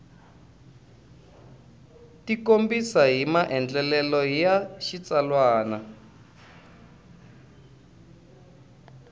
tikombisa hi maandlalelo ya xitsalwana